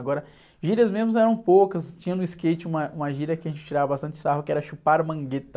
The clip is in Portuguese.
Agora, gírias mesmo eram poucas, tinha no skate uma, uma gíria que a gente tirava bastante sarro, que era chupar a mangueta.